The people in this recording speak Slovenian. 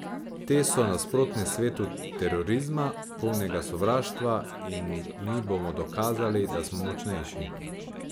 Te so nasprotne svetu terorizma, polnega sovraštva, in mi bomo dokazali, da smo močnejši.